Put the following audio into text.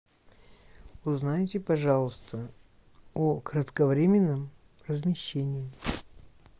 узнайте пожалуйста о кратковременном размещении